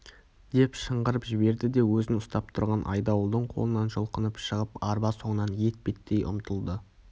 деп шыңғырып жіберді де өзін ұстап тұрған айдауылдың қолынан жұлқынып шығып арба соңынан етпеттей ұмтылды